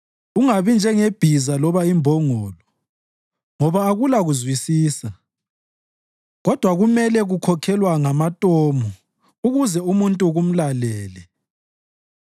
Ungabi njengebhiza loba imbongolo, khona akulakuzwisisa kodwa kumele kukhokhelwa ngamatomu ukuze umuntu kumlalele.